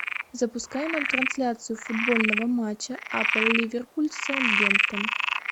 запускай нам трансляцию футбольного матча апл ливерпуль саутгемптон